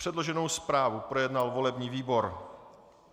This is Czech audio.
Předloženou zprávu projednal volební výbor.